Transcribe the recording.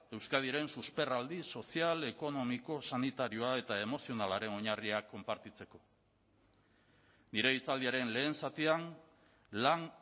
euskadiren susperraldi sozial ekonomiko sanitarioa eta emozionalaren oinarriak konpartitzeko nire hitzaldiaren lehen zatian lan